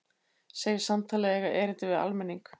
Segir samtalið eiga erindi við almenning